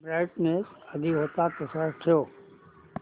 brightness आधी होता तसाच ठेव